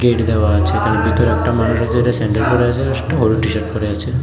Gate দেওয়া আছে তার ভিতরে একটা মানুষ আছে যেটা স্যান্ডেল পরে আছে একটা টিশার্ট পরে আছে।